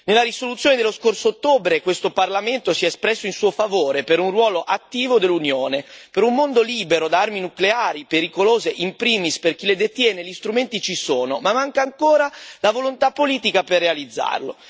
Nella risoluzione dello scorso ottobre questo Parlamento si è espresso in suo favore, per un ruolo attivo dell'Unione, per un mondo libero da armi nucleari pericolose, in primis per chi le detiene gli strumenti ci sono ma manca ancora la volontà politica per realizzarlo.